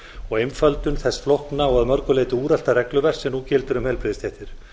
og einföldun þess flókna og að mörgu leyti úrelta regluverks sem nú gildir um heilbrigðisstéttir